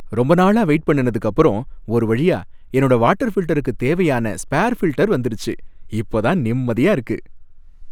ரொம்ப நாளா வெயிட் பண்ணுனதுக்கு அப்பறம் ஒரு வழியா என்னோட வாட்டர் ஃபில்டருக்கு தேவையான ஸ்பேர் ஃபில்டர் வந்துருச்சு, இப்ப தான் நிம்மதியா இருக்கு.